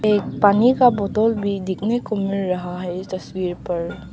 एक पानी का बोतल भी देखने को मिल रहा है तस्वीर पर।